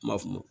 N m'a f'o ma